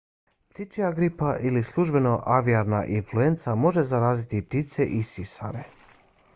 ptičija gripa ili službeno aviarna influenca može zaraziti i ptice i sisare